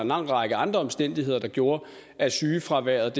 lang række andre omstændigheder der gjorde at sygefraværet